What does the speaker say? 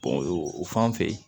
o fan fɛ